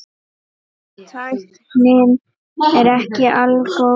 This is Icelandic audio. Tæknin er ekki algóð.